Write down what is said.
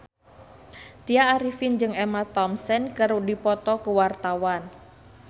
Tya Arifin jeung Emma Thompson keur dipoto ku wartawan